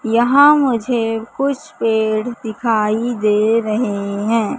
यहां मुझे कुछ पेड़ दिखाई दे रहे है।